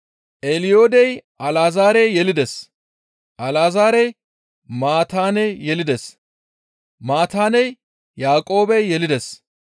Eliyoodey Alazaare yelides; Alazaarey Maataane yelides; Maataaney Yaaqoobe yelides;